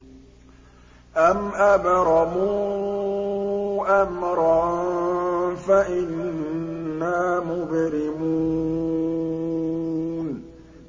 أَمْ أَبْرَمُوا أَمْرًا فَإِنَّا مُبْرِمُونَ